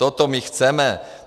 Toto my chceme.